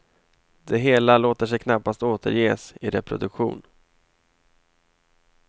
Det hela låter sig knappast återges i reproduktion.